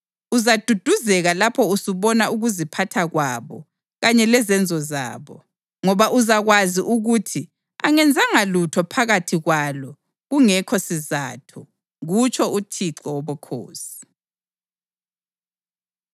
Uzaduduzeka lapho usubona ukuziphatha kwabo kanye lezenzo zabo, ngoba uzakwazi ukuthi angenzanga lutho phakathi kwalo kungekho sizatho, kutsho uThixo Wobukhosi.”